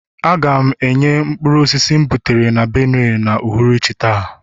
ga na-enye mkpụrụ osisi m butere na Benue n'uhuruchi taa